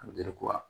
A